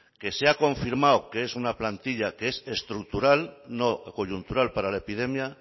que se ha confirmado que es una plantilla que es estructural no coyuntural para la epidemia